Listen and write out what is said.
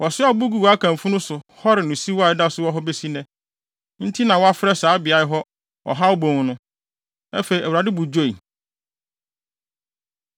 Wɔsoaa abo guu Akan funu so hɔree no siw a ɛda so wɔ hɔ besi nnɛ. Enti na wɔafrɛ saa beae hɔ Ɔhaw Bon no. Afei, Awurade bo dwoe.